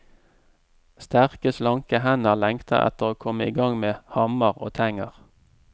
Sterke, slanke hender lengter etter å komme i gang med hammer og tenger.